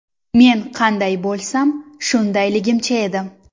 Men qanday bo‘lsam, shundayligimcha edim.